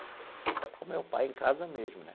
Com o pai, em casa mesmo, né?